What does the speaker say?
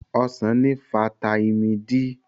Ọsàn ní fataímìn D.